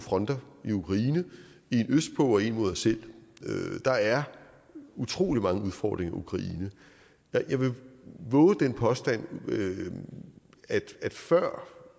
fronter i ukraine en østpå og en mod os selv der er utrolig mange udfordringer i ukraine jeg vil vove den påstand at før